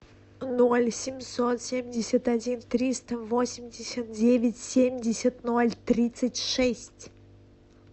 ноль семьсот семьдесят один триста восемьдесят девять семьдесят ноль тридцать шесть